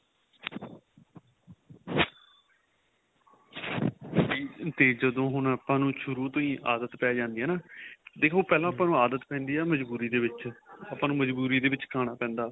ਤੇ ਜਦੋਂ ਹੁਣ ਆਪਾਂ ਨੂੰ ਸ਼ੁਰੂ ਤੋ ਆਦਤ ਪੈ ਜਾਂਦੀ ਏ ਹੈਨਾ ਦੇਖੋ ਪਹਿਲਾਂ ਆਦਤ ਪੈਂਦੀ ਏ ਮਜ਼ਬੂਰੀ ਦੇ ਵਿੱਚ ਆਪਾਂ ਨੂੰ ਮਜ਼ਬੂਰੀ ਦੇ ਵਿੱਚ ਖਾਣਾ ਪੈਂਦਾ